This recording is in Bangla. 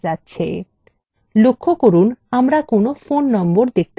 লক্ষ্য করুন আমরা কোনো phone নম্বর দেখতে পাচ্ছি note